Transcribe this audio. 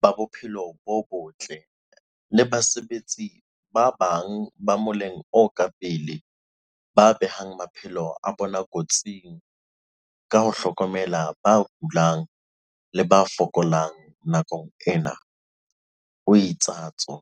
ba bophelo bo botle le basebetsi ba bang ba moleng o ka pele ba behang maphelo a bona kotsing ka ho hlokomela ba kulang le ba fokolang nakong ena," o itsatso.